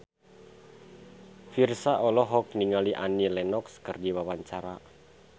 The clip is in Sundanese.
Virzha olohok ningali Annie Lenox keur diwawancara